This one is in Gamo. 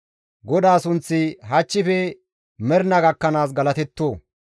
GODAA sunththi hachchife mernaa gakkanaas galatetto!